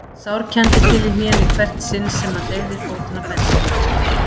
Hann sárkenndi til í hnénu í hvert sinn sem hann hreyfði fótinn á bensíngjöfinni.